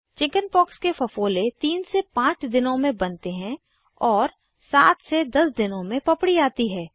chickenpox के फफोले 3 5 दिनों में बनते हैं और 7 10 दिनों में पपड़ी आती है